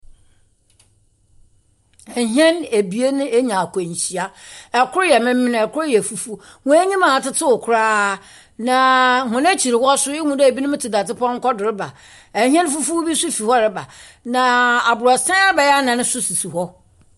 Ɛhɛn abien anya akwanhyia. Kor yɛ memen, kor yɛ fufuw. Wɔanyim atsetsew koraa. Na wɔn akyir hɔ no ihu dɛ ebinom tse dadze pɔnkɔ do reba. Ɛhyɛn fufuw bi nso fi hɔ reba. Na abrɔsan bɛyɛ anan nso sisi hɔ.